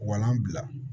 Walan bila